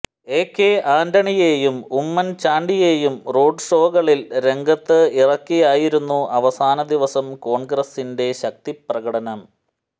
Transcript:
AK ആന്റണിയേയും ഉമ്മൻ ചാണ്ടിയേയും റോഡ് ഷോകളിൽ രംഗത്ത് ഇറക്കിയായിയരുന്നു അവസാന ദിവസം കോൺഗ്രസിന്റെ ശക്തിപ്രകടനം